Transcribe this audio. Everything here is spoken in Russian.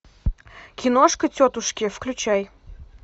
киношка тетушки включай